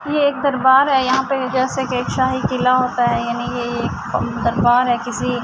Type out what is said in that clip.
یہ ایک دربار ہے۔ یہاں پی جیسے کے سہی کیلا ہوتا ہے یانی یہ ایک دربار ہے کسی--